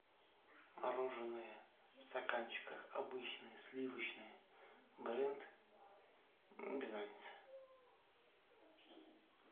мороженое в стаканчиках обычное сливочное бренд без разницы